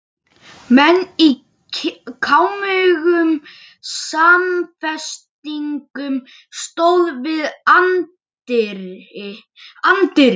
Menn í kámugum samfestingum stóðu við anddyri.